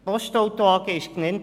Die Postauto AG wurde genannt.